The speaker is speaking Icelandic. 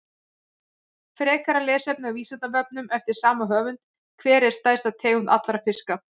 Frekara lesefni á Vísindavefnum eftir sama höfund: Hver er stærsta tegund allra fiska?